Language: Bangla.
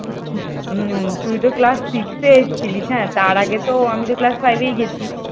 হুম তুই তো class six এসেছিলি হ্যাঁ। তার আগে তো আমি class five গেছি।